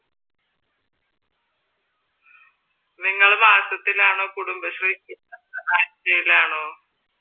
നിങ്ങള് മാസത്തിലാണോ കുടുംബശ്രീ അതോ ആഴ്ചയിലാണോ?